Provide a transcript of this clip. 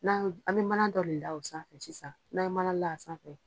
N' an ye, an bɛ mana dɔ la osa sisan, n'an ye mana la a sanfɛ.